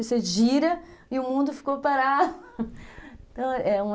Você gira e o mundo ficou parado